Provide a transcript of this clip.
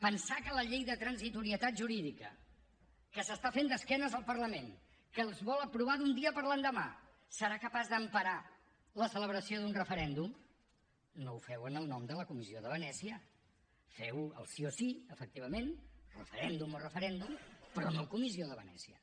pensar que la llei de transitorietat jurídica que s’està fent d’esquena al parlament que es vol aprovar d’un dia per l’endemà serà capaç d’emparar la celebració d’un referèndum no ho feu en el nom de la comissió de venècia feu ho al sí o sí efectivament referèndum o referèndum però no a la comissió de venècia